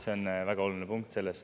See on väga oluline punkt selles.